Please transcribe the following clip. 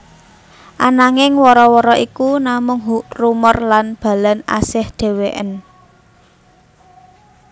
Ananging wara wara iku namung rumor lan Balan asih dhewekén